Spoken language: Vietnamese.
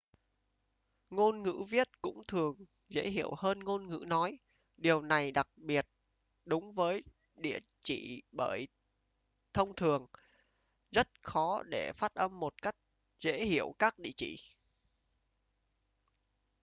ngôn ngữ viết cũng thường dễ hiểu hơn ngôn ngữ nói điều này đặc biệt đúng với địa chỉ bởi thông thường rất khó để phát âm một cách dễ hiểu các địa chỉ